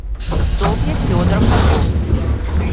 софья федоровна бовть